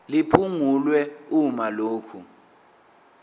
liphungulwe uma lokhu